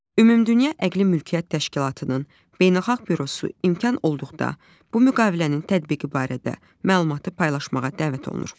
Ümumdünya Əqli Mülkiyyət Təşkilatının Beynəlxalq Bürosu imkan olduqda, bu müqavilənin tətbiqi barədə məlumatı paylaşmağa dəvət olunur.